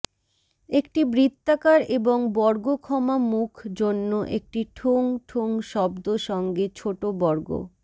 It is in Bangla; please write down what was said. একটি বৃত্তাকার এবং বর্গক্ষমা মুখ জন্য একটি ঠুং ঠুং শব্দ সঙ্গে ছোট বর্গ